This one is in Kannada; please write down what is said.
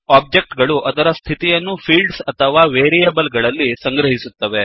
ಒಬ್ಜೆಕ್ಟ್ ಗಳು ಅದರ ಸ್ಥಿತಿಯನ್ನು ಫೀಲ್ಡ್ಸ್ ಅಥವಾ ವೇರಿಯೇಬಲ್ ಗಳಲ್ಲಿ ಸಂಗ್ರಹಿಸುತ್ತವೆ